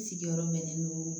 I sigiyɔrɔ bɛnnen don